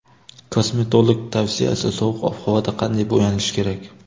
Kosmetolog tavsiyasi: Sovuq ob-havoda qanday bo‘yanish kerak?.